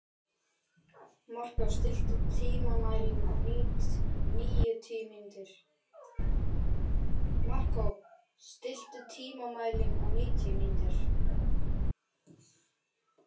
Markó, stilltu tímamælinn á níutíu mínútur.